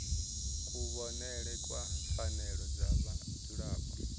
kuvhonele kwa pfanelo dza vhadzulapo